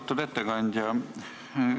Austatud ettekandja!